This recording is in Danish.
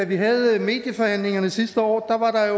vi havde medieforhandlingerne sidste år